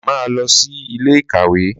Máa lọ sí ilé ìkàwé